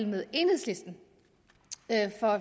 med enhedslisten